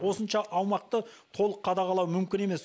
осыншама аумақты толық қадағалау мүмкін емес